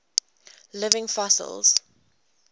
living fossils